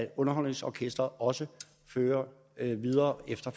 underholdningsorkestret også kører videre efter